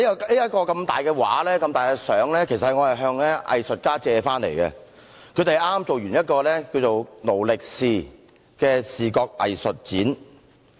這幅大型照片其實是我向藝術家借回來的，他們剛完成了一個名為"勞力是"的視覺藝術展。